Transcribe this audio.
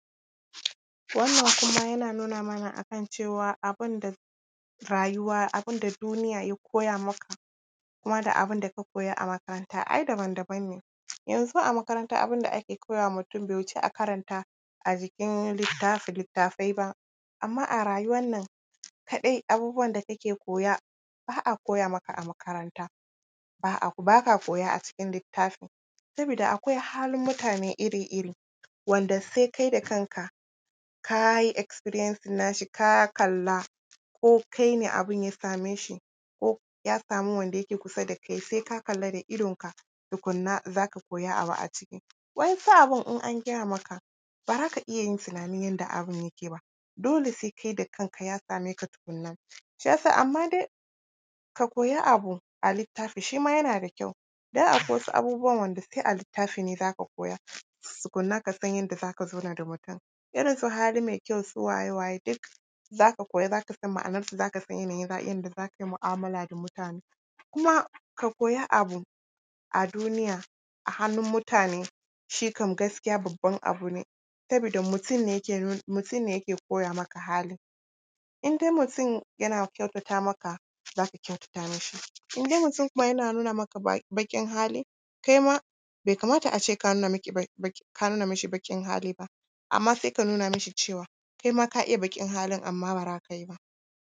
Wannan kuma yana nuna mana a kan cewa, abin da rayuwa, abin da duniya ya koya maka kuma da abin da ka koya a makaranta ai daban daban ne. Yanzu a makaranta abin da ake koya wa mutum, bai wuci a karanta a jikin littafi, littattafai ba. Amma a rayuwar nan kaɗai, abin da kake koya, ba a koya maka a makaranta, ba ka koya a cikin littafi, saboda akwai halin mutane iri-iri, wanda sai kai da kanka, ka yi experiencing nashi, ka kalla ko kai ne abin ya same shi ko ya samu wanda yake kusa da kai, sai ka kalla da idonka tukunna, za ka koyi abu a ciki. Waɗansu abin in an gaya maka, ba za ka iya yin tunani yadda abin yake ba, dole sai kai da kanka ya same ka tukunna. Shi ya sa, amma dai, ka koyi abu a littafi, shi ma yana da kyau, don akwai wasu abubuwan, wanda sai a littafi ne za ka koya, tukunna, ka san yadda za ka zauna da mutum, irin su hali mai kyau, su waye, waye, duk za ka koya, za ka san ma’anarsu, za ka san yanayin yadda za ka yi mu’amala da mutane. Kuma ka koyi abu, a duniya, a hannun mutane, shi kam gaskiya, babban abu ne, sabida mutum ne yake koya maka halin. In dai mutum yana kyautata maka, za ka kyautata mishi. In dai mutum kuma yana nuna maka baƙin hali, kai ma bai kamata a ce ka nuna ishibaƙin hali ba. Amma, sai ka nuna mishi cewa, kai ma ka iya baƙin halin, amma ba za ka yi ba.